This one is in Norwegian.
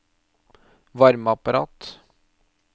varmeapparat